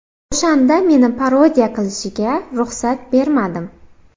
O‘shanda meni parodiya qilishiga ruxsat bermadim.